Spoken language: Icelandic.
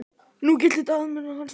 Nú grillti í Daða og menn hans.